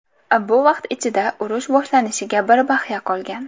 Bu vaqt ichida urush boshlanishiga bir bahya qolgan.